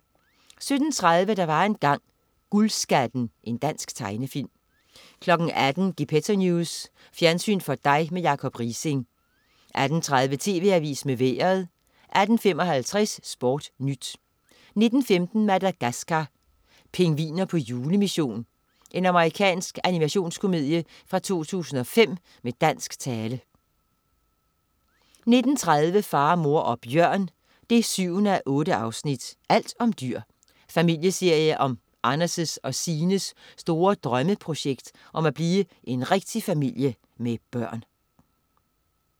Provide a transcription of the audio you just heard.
17.30 Der var engang. Guldskatten. Dansk tegnefilm 18.00 Gepetto News. Fjernsyn for dig med Jacob Riising 18.30 TV Avisen med Vejret 18.55 SportNyt 19.15 Madagaskar: Pingviner på julemission. Amerikansk animationskomedie fra 2005 med dansk tale 19.30 Far, mor og bjørn 7:8. Alt om dyr. Familieserie om Anders' og Signes store drømmeprojekt om at blive en rigtig familie med børn